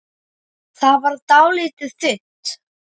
Það varð dálítið þunnt.